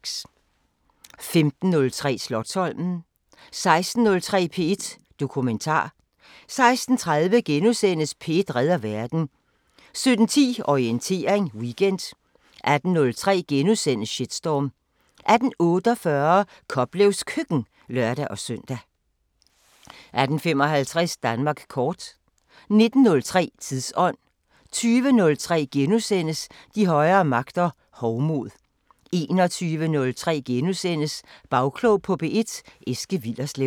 15:03: Slotsholmen 16:03: P1 Dokumentar 16:30: P1 redder verden * 17:10: Orientering Weekend 18:03: Shitstorm * 18:48: Koplevs Køkken (lør-søn) 18:55: Danmark kort 19:03: Tidsånd 20:03: De højere magter: Hovmod * 21:03: Bagklog på P1: Eske Willerslev *